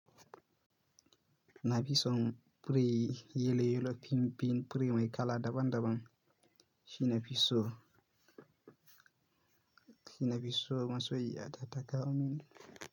Na fi son biri yeloyelo, Pimpim, biri mai kala daban daban. Shi na fi so, shi na fi so. Masoyiya ta takaomin.